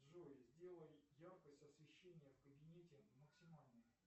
джой сделай яркость освещения в кабинете максимальной